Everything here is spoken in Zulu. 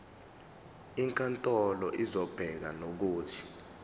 inkantolo izobeka nokuthi